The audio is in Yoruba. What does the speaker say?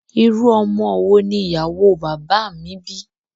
Irú ọmọ wo ni ìyàwó o bàbá à mi bí?